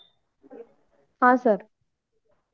हा सर